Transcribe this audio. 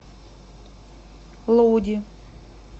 лоуди